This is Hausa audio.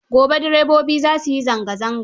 Gobe direbobi za su yi zanga zanga.